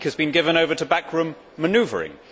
The week has been given over to backroom manoeuvring.